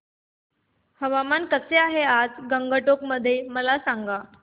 हवामान कसे आहे आज गंगटोक मध्ये मला सांगा